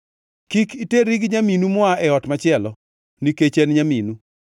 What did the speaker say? “ ‘Kik iterri gi nyaminu moa e ot machielo, nikech en nyaminu.